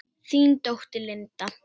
Þín dóttir, Linda.